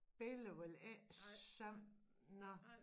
Spiller vel ikke sammen nå